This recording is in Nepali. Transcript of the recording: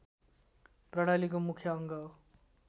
प्रणालीको मुख्य अङ्ग हो